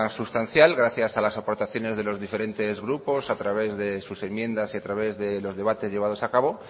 sustancial gracias a las aportaciones de los diferentesgrupos a través de sus enmiendas y a través de los debates llevados a cabo